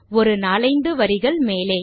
ஒரு நாலைந்து வரிகள் மேலே